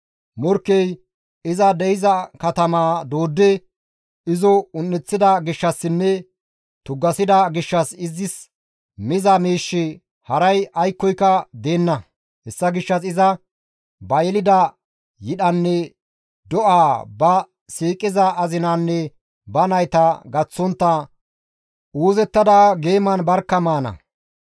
Morkkey iza de7iza katamaa dooddidi izo un7eththida gishshassinne tuggasida gishshas izis miza miishshi haray aykkoyka deenna; Hessa gishshas iza ba yelida yidhanne do7aa ba siiqiza azinaanne ba nayta gaththontta uuzettada geeman barkka maana.